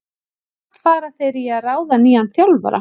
Samt fara þeir í að ráða nýjan þjálfara.